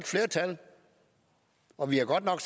flertal og vi har godt nok